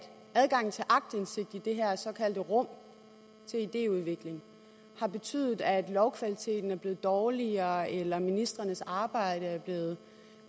adgangen til aktindsigt i det her såkaldte rum til idéudvikling har betydet at lovkvaliteten er blevet dårligere eller at ministrenes arbejde er blevet